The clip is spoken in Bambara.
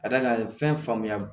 Ka d'a kan fɛnba